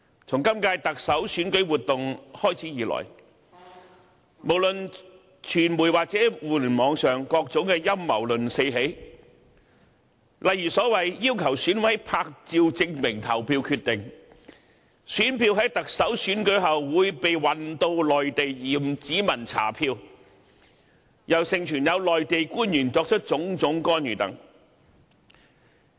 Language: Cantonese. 從今屆特首選舉活動開始以來，無論傳媒或互聯網上，各種陰謀論四起，例如所謂"要求選委拍照證明投票決定"、"選票在特首選舉後會被運到內地驗指紋查票"，又盛傳有內地官員作出種種干預等。